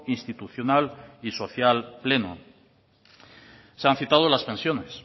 institucional y social pleno se han citado las pensiones